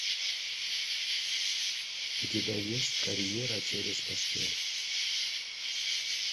у тебя есть карьера через постель